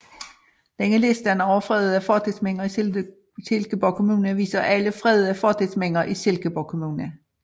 Denne liste over fredede fortidsminder i Silkeborg Kommune viser alle fredede fortidsminder i Silkeborg Kommune